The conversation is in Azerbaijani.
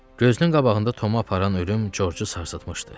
Gözünün qabağında Tomu aparan ölüm Corcu sarsıtmışdı.